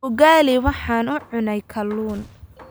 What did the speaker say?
Ugali waxaan u cunay Kalluun